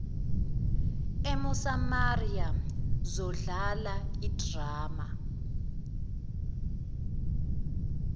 emosamaria zadlala idrama